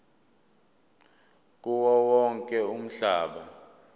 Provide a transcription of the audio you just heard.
kuwo wonke umhlaba